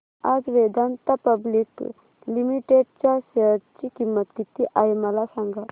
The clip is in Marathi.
आज वेदांता पब्लिक लिमिटेड च्या शेअर ची किंमत किती आहे मला सांगा